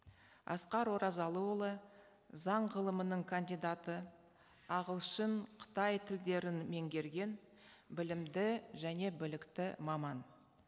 асқар оразалыұлы заң ғылымының кандидаты ағылшын қытай тілдерін меңгерген білімді және білікті маман